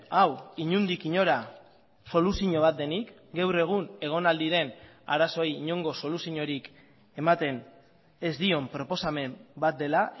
hau inondik inora soluzio bat denik gaur egun egon al diren arazoei inongo soluziorik ematen ez dion proposamen bat dela